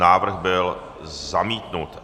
Návrh byl zamítnut.